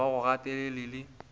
ga ba go gatelele le